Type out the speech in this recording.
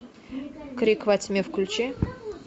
крик во тьме включи